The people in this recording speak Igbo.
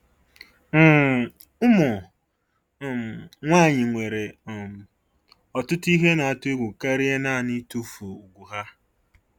um Ụmụ um nwanyị nwere um ọtụtụ ihe na-atụ egwu karịa naanị itufu ùgwù ha.